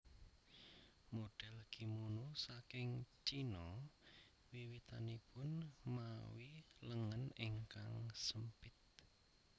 Model kimono saking Cina wiwitanipun mawi lengen ingkang sempit